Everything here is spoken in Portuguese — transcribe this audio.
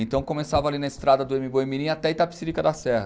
Então, começava ali na estrada do Mboi mirim até Itapecerica da Serra.